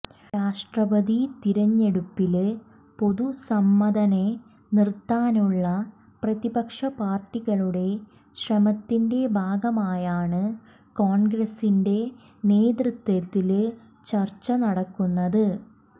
രാഷ്ട്രപതി തെരഞ്ഞെടുപ്പില് പൊതുസമ്മതനെ നിര്ത്താനുള്ള പ്രതിപക്ഷ പാര്ട്ടികളുടെ ശ്രമത്തിന്റെ ഭാഗമായാണ് കോണ്ഗ്രസിന്റെ നേതൃത്വത്തില് ചര്ച്ച നടക്കുന്നത്